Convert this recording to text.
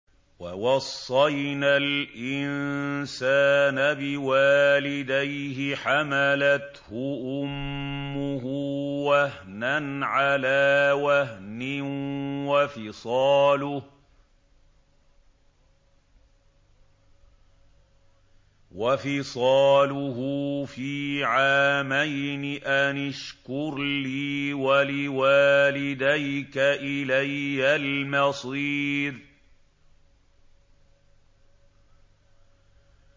وَوَصَّيْنَا الْإِنسَانَ بِوَالِدَيْهِ حَمَلَتْهُ أُمُّهُ وَهْنًا عَلَىٰ وَهْنٍ وَفِصَالُهُ فِي عَامَيْنِ أَنِ اشْكُرْ لِي وَلِوَالِدَيْكَ إِلَيَّ الْمَصِيرُ